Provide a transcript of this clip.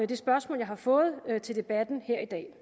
det spørgsmål jeg har fået til debatten her i dag